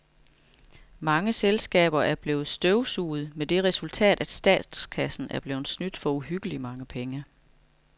Mange selskaber er blevet støvsuget med det resultat, at statskassen er blevet snydt for uhyggeligt mange penge.